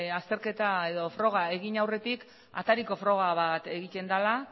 azterketa edo froga egin aurretik atariko froga bat egiten dela